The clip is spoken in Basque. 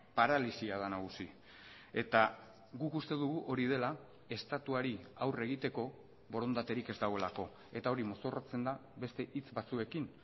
paralisia da nagusi eta guk uste dugu hori dela estatuari aurre egiteko borondaterik ez dagoelako eta hori mozorrotzen da beste hitz batzuekin